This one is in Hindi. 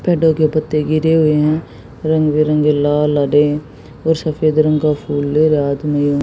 पेड़ों के पत्ते गिरे हुए हैं रंग बिरंगे लाल हरे और सफेद रंग का फूल है रात में--